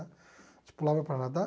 A gente pulava para nadar.